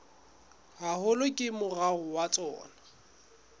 haholo ke moruo wa tsona